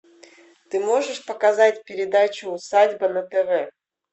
ты можешь показать передачу усадьба на тв